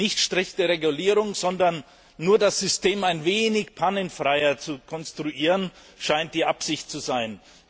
Nicht strikte Regulierung, sondern nur das System ein wenig pannenfreier zu konstruieren scheint die Absicht zu sein.